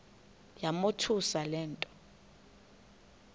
yamothusa le nto